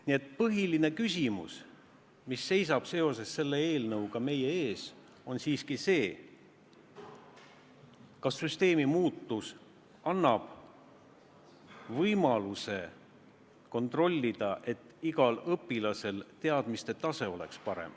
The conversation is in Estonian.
Nii et põhiline küsimus, mis seisab seoses selle eelnõuga meie ees, on siiski see, kas süsteemi muutus annab võimaluse kontrollida, et igal õpilasel oleks parem teadmiste tase.